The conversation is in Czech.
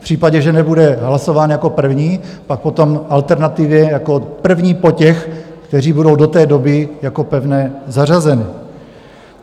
V případě, že nebude hlasován jako první, pak potom alternativně jako první po těch, kteří budou do té doby jako pevné zařazeny.